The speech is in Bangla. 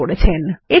অঙ্কন করেছেন